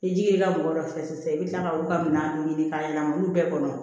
Ni ji ye mɔgɔ dɔ fɛ sisan i bi kila ka olu ka minanw ɲini ka yɛlɛma olu bɛɛ kɔnɔ